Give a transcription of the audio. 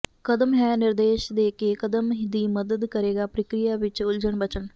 ਕਦਮ ਹੈ ਨਿਰਦੇਸ਼ ਦੇ ਕੇ ਕਦਮ ਦੀ ਮਦਦ ਕਰੇਗਾ ਪ੍ਰਕਿਰਿਆ ਵਿਚ ਉਲਝਣ ਬਚਣ